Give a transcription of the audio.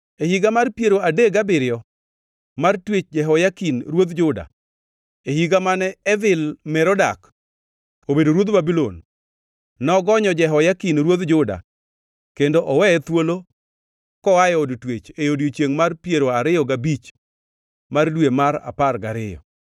E higa mar piero adek gabiriyo mar twech Jehoyakin ruodh Juda, e higa mane Evil-Merodak obedo ruodh Babulon, nogonyo Jehoyakin ruodh Juda kendo oweye thuolo koa e od twech e odiechiengʼ mar piero ariyo gabich mar dwe mar apar gariyo.